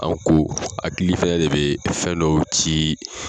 Anw ko hakili ntanya de be fɛn dɔw ci